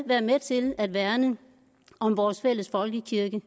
være med til at værne om vores fælles folkekirke